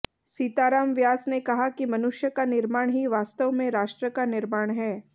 सीताराम व्यास ने कहा कि मनुष्य का निर्माण ही वास्तव में राष्ट्र का निर्माण है